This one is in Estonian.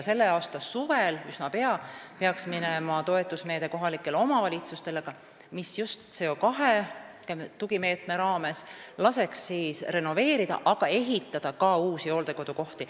Selle aasta suvel ehk üsna pea peaks kohalikele omavalitsustele minema toetusmeede, mis just CO2 tugimeetme raames laseks renoveerida, aga ka ehitada ka uusi hooldekodukohti.